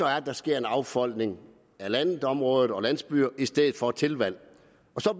at der sker en affolkning af landområder og landsbyer i stedet for et tilvalg